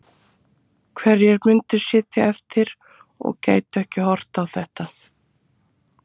Hverjir myndu sitja eftir og gætu ekki horft á þetta?